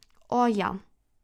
O, ja.